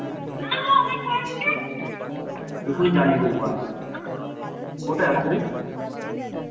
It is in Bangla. এখুনি জ্বালিয়ে দেবো বাড়া কোথায় এখন তুই?